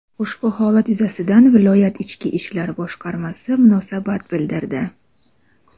Ushbu holat yuzasidan viloyat Ichki ishlar boshqarmasi munosabat bildirdi.